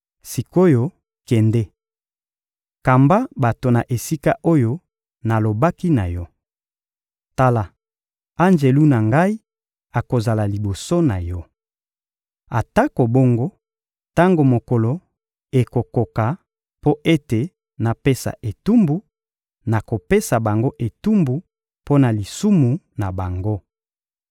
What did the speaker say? Sik’oyo, kende! Kamba bato na esika oyo nalobaki na yo. Tala, anjelu na Ngai akozala liboso na yo. Atako bongo, tango mokolo ekokoka mpo ete napesa etumbu, nakopesa bango etumbu mpo na lisumu na bango.